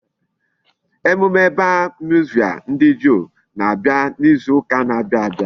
Emume bar mitzvah ndi Juu na-abia n'izu uka n'abia abia